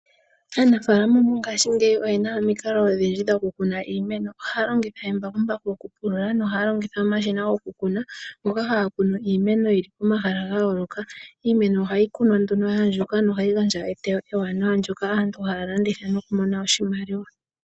Aanafaalama mongaashingeyi oyena omikalo odhindji dhoku kuna iimeno, ohaya longitha embakumbaku oku pulula nohaya longitha omashina gwoku kuna ngoka haga kunu iimeno yili pomahala ga yooloka, iimeno ohayi kunwa nduno ya andjuka nohayi gandja oteyo ewanawa ndyoka aantu haya landitha nokumona oshimaliwa